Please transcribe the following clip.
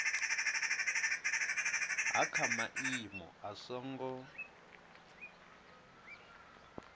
ha kha maimo a songo